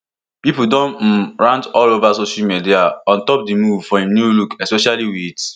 pipo don um rant all ova social media on top di move for im look most especially wit